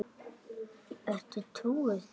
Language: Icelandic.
Ertu trúuð?